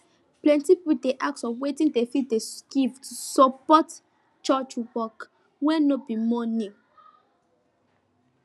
plenti pipo dey ask of wetin dem fit dey give to support church work wey no be money